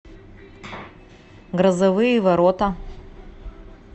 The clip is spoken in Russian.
грозовые ворота